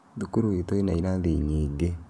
Thukuru itũ ina irathi nyingĩ